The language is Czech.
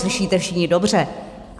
Slyšíte všichni dobře.